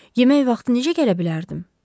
Yemək vaxtı necə gələ bilərdim?